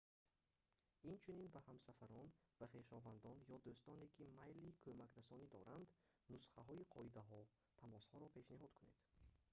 инчунин ба ҳамсафарон ва хешовандон ё дӯстоне ки майли кӯмакрасонӣ доранд нусхаҳои қоидаҳо/тамосҳоро пешниҳод кунед